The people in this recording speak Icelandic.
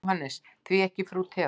JÓHANNES: Því ekki frú Theodóra?